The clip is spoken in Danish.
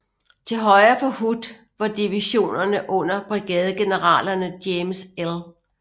Til højre for Hood var divisionerne under brigadegeneralerne James L